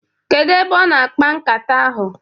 Kedu ebe ọ na-akpa nkata ahụ?